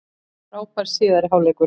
Frábær síðari hálfleikur